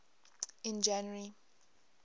in january